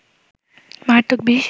মারাত্মক বিষ